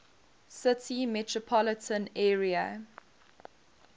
city metropolitan area